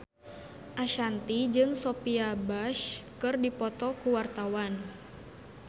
Ashanti jeung Sophia Bush keur dipoto ku wartawan